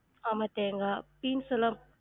ஆமா தேங்கா